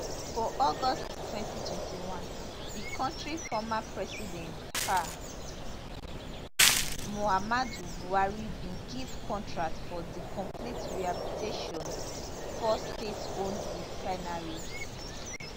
for august twenty twenty one di kontri former president um muhammadu buhari bin give contract for di complete rehabilitation di four stateowned refineries